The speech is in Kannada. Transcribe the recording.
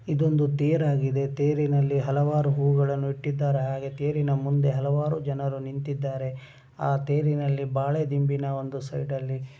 ಇದೊಂದು ತೇರಾಗಿದೆ ತೇರಿನಲ್ಲಿ ಹಲವಾರು ಹೂಗಳನ್ನೂ ಇಟ್ಟಿದ್ದಾರೆ ಹಾಗೆ ತೇರಿನ ಮುಂದೆ ಹಲವಾರು ಜನರು ನಿಂತಿದ್ದಾರೆ ಆ ತೇರಿನ ಬಾಳೆದಿಂಬಿನ ಒಂದು ಸೈಡಲ್ಲಿ --